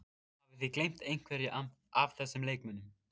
Hafið þið gleymt einhverjum af þessum leikmönnum?